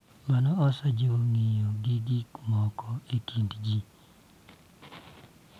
Mano osejiwo ng�iyo gik moko e kind ji